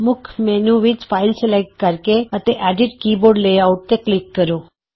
ਮੁੱਖ ਮੈਨਯੂ ਵਿਚ file select ਕਰਕੇ ਅਤੇ ਐਡਿਟ ਕੀਬੋਰਡ ਲੈਆਉਟ ਤੇ ਕਲਿਕ ਕਰੋ